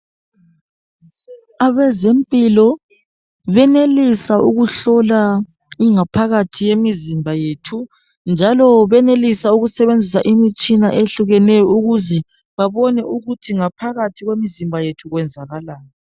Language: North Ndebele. Abeze mpilo benelisa ukuhlola ingaphakathi yemizimba yethu njalo benelisa ukusebenzisa imitshina ehlukeneyo ukuze babone ukuthi ngaphakathi kwemizimba yethu kwenzakalani.